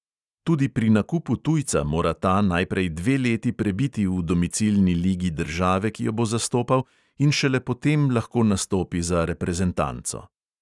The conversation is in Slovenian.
Tudi pri nakupu tujca mora ta najprej dve leti prebiti v domicilni ligi države, ki jo bo zastopal, in šele potem lahko nastopi za reprezentanco.